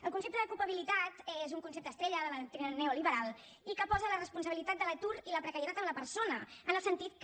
el concepte d’ ocupabilitat és un concepte estrella de la doctrina neoliberal i que posa la responsabilitat de l’atur i la precarietat en la persona en el sentit que